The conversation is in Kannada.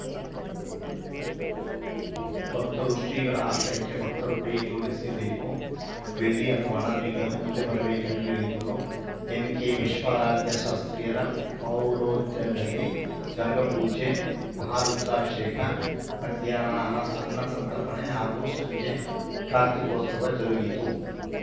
ಭಕ್ತರು ಶ್ರೀಗಳ ಆಶಯಕ್ಕೆ ಭಕ್ತರು ಕೈ ಜೋಡಿಸಿಬೇಕು ಬೆಳ್ಳಿ ಅಥವಾ ಹಣ ನೀಡಲು ಮುಂದೆ ಬರಬೇಕೆಂದು ಹೇಳಿದರು ಎನ್‌ಕೆ ವಿಶ್ವರಾಧ್ಯ ಶಾಸ್ತ್ರಿಯರ ಪೌರೋಹಿತ್ಯದಲ್ಲಿ ಗಂಗಾಪೂಜೆ ಮಹಾ ರುದ್ರಾಭಿಷೇಕ ಮಧ್ಯಾಹ್ನ ಅನ ಅನ್ನ ಸಂತರ್ಪಣೆ ಹಾಗೂ ಸಂಜೆ ಕಾರ್ತೀಕೋತ್ಸವ ಜರುಗಿತು